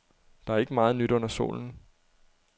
Der er ikke meget nyt under solen.